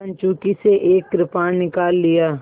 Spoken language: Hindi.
कंचुकी से एक कृपाण निकाल लिया